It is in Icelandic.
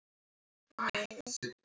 Svona var Lalli Sig.